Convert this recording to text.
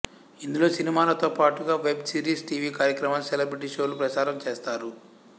ఇందులో సినిమాలతో పాటుగా వెబ్ సిరీస్ టీవీ కార్యక్రమాలు సెలెబ్రిటీ షోలు ప్రసారం చేస్తారు